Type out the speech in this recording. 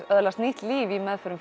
öðlast nýtt líf í meðförum